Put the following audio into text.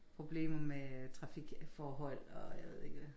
Problemer med trafikforhold og jeg ved ikke hvad